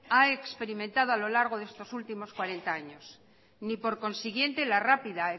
ha experimentado a lo largo de estos últimos cuarenta años ni por consiguiente la rápida